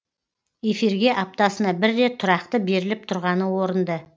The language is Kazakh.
эфирге аптасына бір рет тұрақты беріліп тұрғаны орынды